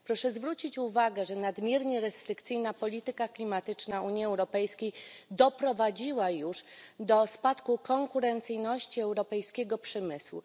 Proszę zwrócić uwagę, że nadmiernie restrykcyjna polityka klimatyczna Unii Europejskiej doprowadziła już do spadku konkurencyjności europejskiego przemysłu.